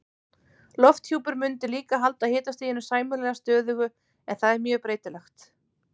Lofthjúpur mundi líka halda hitastiginu sæmilega stöðugu en það er mjög breytilegt.